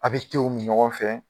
A bɛ te o min ɲɔgɔn fɛ.